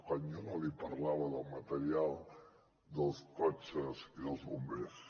quan jo no li parlava del material dels cotxes i dels bombers